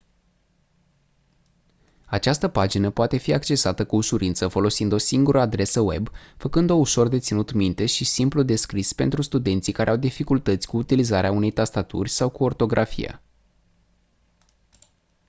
această pagină poate fi accesată cu ușurință folosind o singură adresă web făcând-o ușor de ținut minte și simplu de scris pentru studenții care au dificultăți cu utilizarea unei tastaturi sau cu ortografia